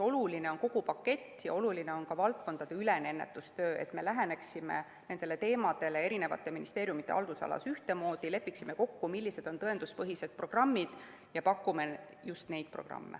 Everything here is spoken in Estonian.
Oluline on kogu pakett ja oluline on ka valdkonnaülene ennetustöö, et me läheneksime nendele teemadele eri ministeeriumide haldusalas ühtemoodi, lepiksime kokku, millised on tõenduspõhised programmid, ja pakuksime just neid programme.